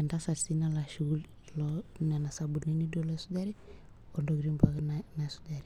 entasat nalo ashuku leo tokitin pookin naisujare.